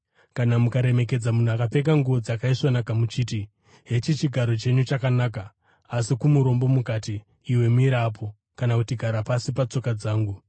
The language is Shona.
kana mukaremekedza munhu akapfeka nguo dzakaisvonaka muchiti, “Hechi chigaro chenyu chakanaka,” asi kumurombo mukati, “Iwe mira apo,” kana kuti “Gara pasi, patsoka dzangu,”